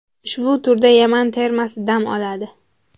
Ushbu turda Yaman termasi dam oladi.